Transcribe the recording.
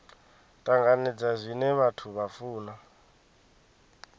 tanganedza zwine vhathu vha funa